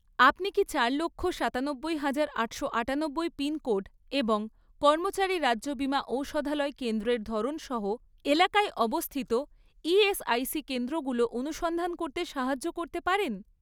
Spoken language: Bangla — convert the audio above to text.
আপনি কি চার লক্ষ, সাতানব্বই হাজার, আটশো আটানব্বই পিনকোড এবং কর্মচারী রাজ্য বিমা ঔষধালয় কেন্দ্রের ধরন সহ এলাকায় অবস্থিত ইএসআইসি কেন্দ্রগুলো অনুসন্ধান করতে সাহায্য করতে পারেন?